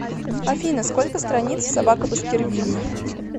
афина сколько страниц в собака баскервилей